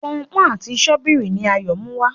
Pọnpọ́n àti Sọ́bíìrì ni Ayo Muwá.